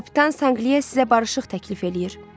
Kapitan Sanqlia sizə barışıq təklif eləyir.